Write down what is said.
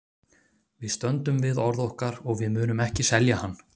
Við stöndum við orð okkar og við munum ekki selja hann.